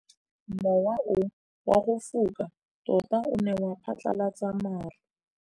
Mowa o wa go foka tota o ne wa phatlalatsa maru.